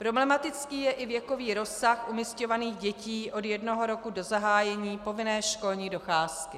Problematický je i věkový rozsah umisťovaných dětí od jednoho roku do zahájení povinné školní docházky.